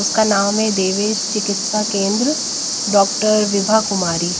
उसका नाम है देवेश चिकित्सा केंद्र डॉक्टर विभा कुमारी।